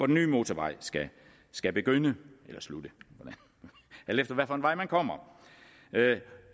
nye motorvej skal begynde eller slutte alt efter hvilken vej man kommer